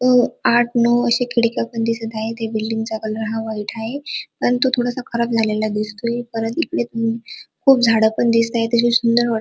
अ आठ नऊ अश्या खिडक्या पण दिसत आहे बिल्डिंगच्या चा कलर हा व्हाइट आहे आणि तो थोडासा खराब झालेला दिसतोय परत इकडे खूप झाड पण दिसता अतिशय सुंदर वाट --